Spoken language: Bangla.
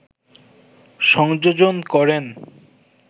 সংযোজন করেন